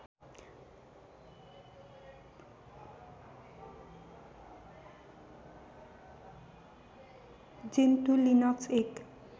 Gentoo Linux एक